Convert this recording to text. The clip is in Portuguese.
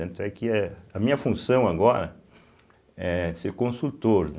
Tanto é que a minha função agora é ser consultor, né.